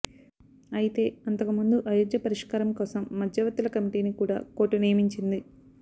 అయితే అంతకు ముందు అయోధ్య పరిష్కారం కోసం మధ్యవర్తుల కమిటిని కూడ కోర్టు నియమించింది